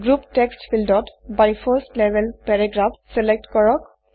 group text ফিল্ডত by 1ষ্ট level paragraphs select কৰক